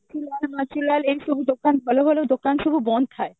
ଭଲ ଭଲ ଦୋକାନ ସବୁ ବନ୍ଦ ଥାଏ